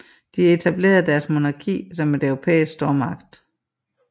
De etablerede deres monarki som en europæisk stormagt